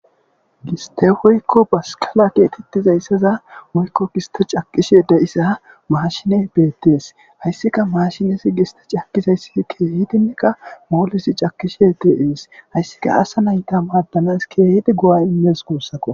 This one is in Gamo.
Giste hoykko baskala keetettizayssaza moykko giste caqishe deyisa maashine beettees hayssika maashinesi giste cakizayssii keehitineka moolesi cakishe te7ees hayssika asa nayta maddanas keehiti go7a immees guussako.